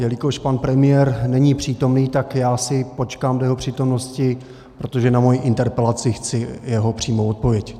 Jelikož pan premiér není přítomen, tak já si počkám do jeho přítomnosti, protože na svoji interpelaci chci jeho přímou odpověď.